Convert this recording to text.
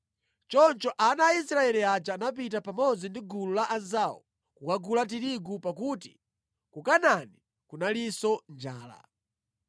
Choncho ana a Israeli aja anapita pamodzi ndi gulu la anzawo kukagula tirigu pakuti ku Kanaani kunalinso njala.